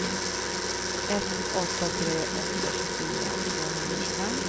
ett åtta tre åtta tjugofyra tvåhundratjugofem